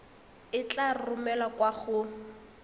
e tla romelwa kwa go